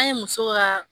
An ye muso ka